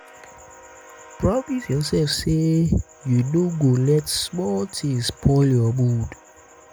promise yourself say you no go let small things spoil your mood.